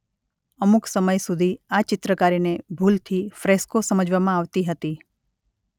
અમુક સમય સુધી આ ચિત્રકારીને ભૂલથી ફ્રેસ્કો સમજવામાં આવતી હતી.